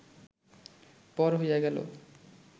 পর হইয়া গেল